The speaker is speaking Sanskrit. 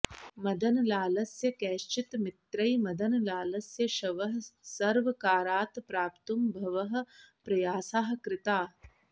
मदनलालस्य कैश्चित् मित्रैः मदनलालस्य शवः सर्वकारात् प्राप्तुं बहवः प्रयासाः कृताः